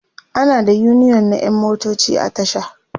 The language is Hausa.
ana da uniyon na ƴan motoci a tasha